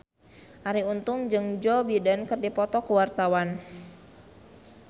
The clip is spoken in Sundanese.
Arie Untung jeung Joe Biden keur dipoto ku wartawan